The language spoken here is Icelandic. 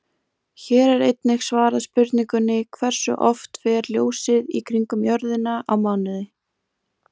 Hér er einnig svarað spurningunni Hversu oft fer ljósið í kringum jörðina á mánuði?